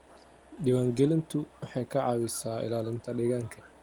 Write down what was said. Diiwaangelintu waxay ka caawisaa ilaalinta deegaanka.